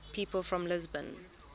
people from lisbon